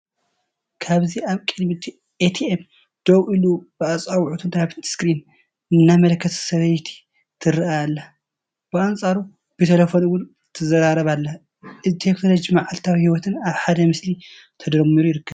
ኣብዚ ኣብ ቅድሚ ኤቲኤም ደው ኢሉ ብኣጻብዕቱ ናብቲ ስክሪን እናኣመልከተ ሰበይቲ ትረአ ኣላ። ብኣንጻሩ ብተሌፎን እውን ትራረብ ኣላ። እዚ ቴክኖሎጅን መዓልታዊ ህይወትን ኣብ ሓደ ምስሊ ተደሚሩ ይርከብ።